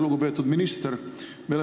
Lugupeetud minister!